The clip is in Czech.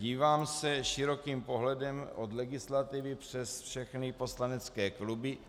Dívám se širokým pohledem od legislativy přes všechny poslanecké kluby.